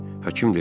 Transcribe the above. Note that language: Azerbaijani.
Həkim dedi: